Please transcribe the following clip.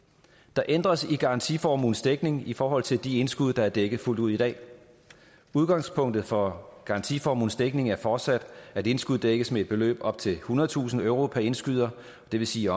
der ændres i garantiformuens dækning i forhold til de indskud der er dækket fuldt ud i dag udgangspunktet for garantiformuens dækning er fortsat at indskuddet dækkes med et beløb op til ethundredetusind euro per indskyder det vil sige